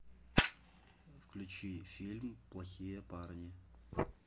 включи фильм плохие парни